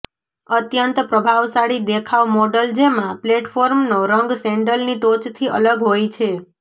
અત્યંત પ્રભાવશાળી દેખાવ મોડલ જેમાં પ્લેટફોર્મનો રંગ સેન્ડલની ટોચથી અલગ હોય છે